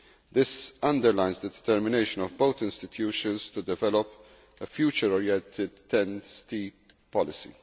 This underlines the determination of both institutions to develop a future oriented TEN T policy.